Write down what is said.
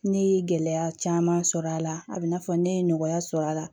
Ne ye gɛlɛya caman sɔrɔ a la a bɛ i n'a fɔ ne ye nɔgɔya sɔrɔ a la